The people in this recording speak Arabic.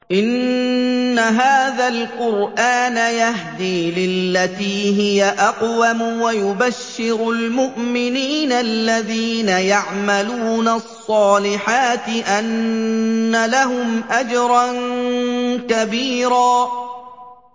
إِنَّ هَٰذَا الْقُرْآنَ يَهْدِي لِلَّتِي هِيَ أَقْوَمُ وَيُبَشِّرُ الْمُؤْمِنِينَ الَّذِينَ يَعْمَلُونَ الصَّالِحَاتِ أَنَّ لَهُمْ أَجْرًا كَبِيرًا